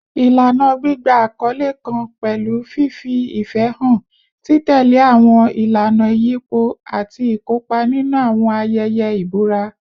Ilana gbigba akọle kan pẹlu fifi ifẹ han, titẹle awọn ilana iyipo, ati ikopa ninu awọn ayẹyẹ ibura